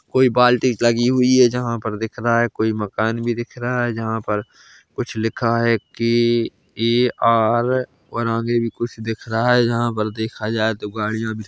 कोई बाल्टी लगी हुई है जहां पर दिख रहा है कोई मकान भी दिख रहा है जहां पर कुछ लिखा है कि के ए आर और आगे भी कुछ दिख रहा है जहां पर देखा जाए तो गाड़ियां भी--